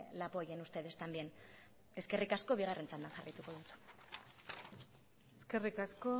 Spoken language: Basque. la apoyen ustedes también eskerrik asko bigarren txandan jarraituko dut eskerrik asko